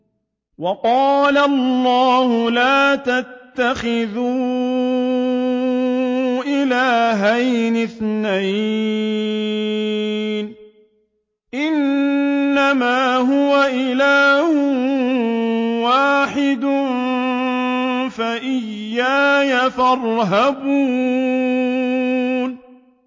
۞ وَقَالَ اللَّهُ لَا تَتَّخِذُوا إِلَٰهَيْنِ اثْنَيْنِ ۖ إِنَّمَا هُوَ إِلَٰهٌ وَاحِدٌ ۖ فَإِيَّايَ فَارْهَبُونِ